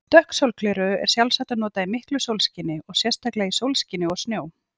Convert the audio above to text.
Dökk sólgleraugu er sjálfsagt að nota í miklu sólskini og sérstaklega í sólskini og snjó.